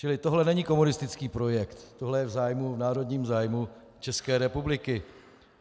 Čili tohle není komunistický projekt, tohle je v zájmu, v národním zájmu České republiky.